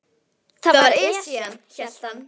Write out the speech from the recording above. Það var Esjan, hélt hann.